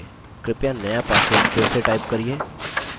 कृपया नया password फिर से type करिये